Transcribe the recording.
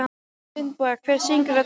Finnboga, hver syngur þetta lag?